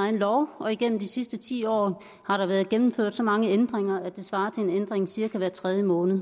egen lov og igennem de sidste ti år har der været gennemført så mange ændringer at det svarer til en ændring cirka hver tredje måned